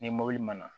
Ni mɔbili mana